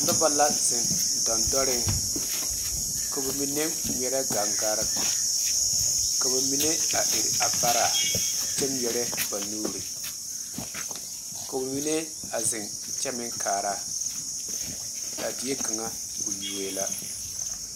Noba la zeŋ dandoɔre ka ba mine ŋmeɛrɛ gaŋgaare ka ba mine a iri a vare kyɛ ŋmeɛrɛ ba nuure ko'o mine a zeŋ kyɛ meŋ kaara a die kaŋa o yuo la.